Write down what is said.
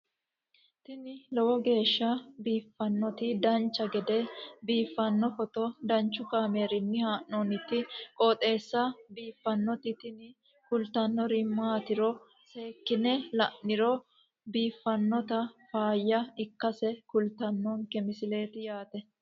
tini lowo geeshsha biiffannoti dancha gede biiffanno footo danchu kaameerinni haa'noonniti qooxeessa biiffannoti tini kultannori maatiro seekkine la'niro biiffannota faayya ikkase kultannoke misileeti yaate